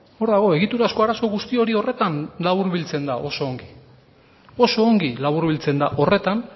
hor dago egiturazko arazo guzti hori horretan laburbiltzen da oso ongi oso ongi laburbiltzen da horretan